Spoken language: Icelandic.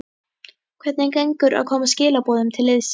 Hvernig gengur að koma skilaboðum til liðsins?